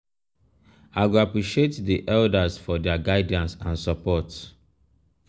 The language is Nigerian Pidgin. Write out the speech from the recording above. i go appreciate di elders for their guidance and support.